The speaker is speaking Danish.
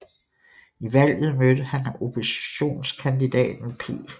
I valget mødte han oppositionskandidaten P